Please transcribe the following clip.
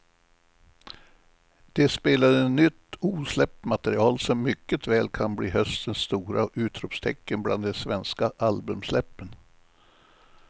De spelade nytt osläppt material som mycket väl kan bli höstens stora utropstecken bland de svenska albumsläppen.